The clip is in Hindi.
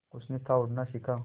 उसने था उड़ना सिखा